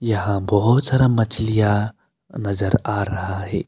यहां बहोत सारा मछलियां नजर आ रहा है।